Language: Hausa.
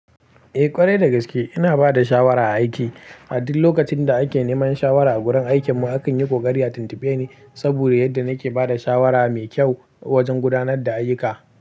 Eh ƙwarai dagaske ina bada shawara a aiki. A duk lokacin da ake neman shawara a gurin aikin mu, akan yi kokari a tuntube ni saboda yadda nake bada shawara mai kyau wajen gudanar da ayyuka.